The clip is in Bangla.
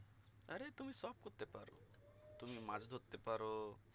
আরে তুমি সব করতে পারো তুমি মাছ ধরতে পারো